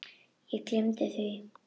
Ég gleymdi því.